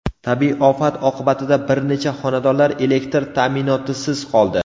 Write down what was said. Tabiiy ofat oqibatida bir necha xonadonlar elektr ta’minotisiz qoldi.